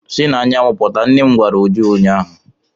Si n'anyanwụ pụta! nnem gwara Uju ụnyahụ.